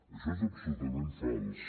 això és absolutament fals